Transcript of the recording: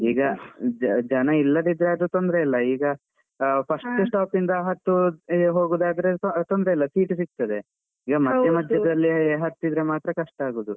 ಈಗ ಜನ ಇಲ್ಲದಿದ್ರೆ ಆದ್ರೂ ತೊಂದ್ರೆ ಇಲ್ಲ ಈಗ first stop ಇಂದ ಹತ್ತಿ ಹೋಗುದಾದ್ರೆ ತೊಂದ್ರೆ ಇಲ್ಲ seat ಸಿಗ್ತದೆ. ಈಗ ಮಧ್ಯ ಮಧ್ಯದಲ್ಲಿ ಹತ್ತಿದ್ರೆ ಮಾತ್ರ ಕಷ್ಟ ಆಗುದು.